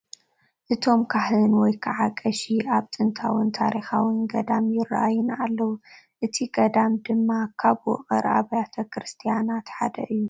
እቶም ካህን ወይ ከዓ ቐሺ ኣብ ጥንታውን ታሪኻውን ገዳም ይራኣዩና ኣለው፡፡ እቲ ገዳም ድማ ካብ ውቅር ኣብያተ ክርስትያናት ሓደ እዩ፡፡